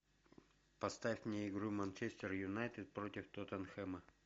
поставь мне игру манчестер юнайтед против тоттенхэма